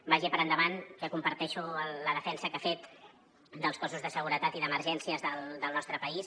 vagi per endavant que comparteixo la defensa que ha fet dels cossos de seguretat i d’emergències del nostre país